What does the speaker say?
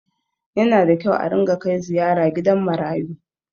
Yana da kyau a ringa kai ziyara gidan marayu.